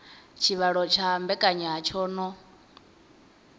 tshivhalo tsha mbekanya tsho no